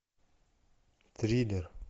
триллер